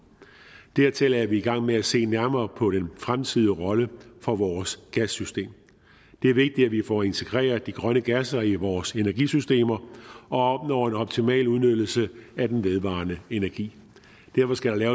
dertil er vi i gang med at se nærmere på den fremtidige rolle for vores gassystem det er vigtigt at vi får integreret de grønne gasser i vores energisystemer og opnår en optimal udnyttelse af den vedvarende energi derfor skal